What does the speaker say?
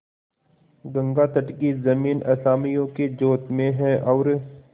गंगातट की जमीन असामियों के जोत में है और